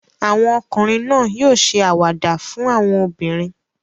Àwọn ọkùnrin náà yóò ṣe àwàdà fún àwọn obìnrin.